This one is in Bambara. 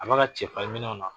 A b'a ka cɛfarinminɛnw na